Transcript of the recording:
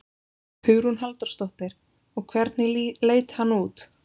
Hugrún Halldórsdóttir: Og hvernig leit hann út?